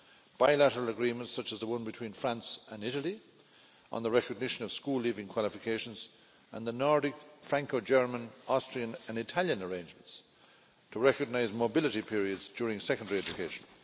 bilateral agreements, such as the one between France and Italy on the recognition of school leaving qualifications and the Nordic, Franco German, Austrian and Italian arrangements to recognise mobility periods during secondary education.